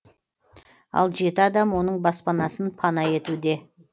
ал жеті адам оның баспанасын пана етуде